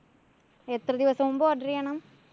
എത്ര ദിവസം മുമ്പ് order ചെയ്യണം?